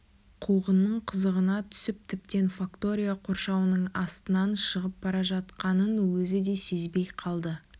қуғынның қызығына түсіп тіптен фактория қоршауының астынан шығып бара жатқанын өзі де сезбей қалды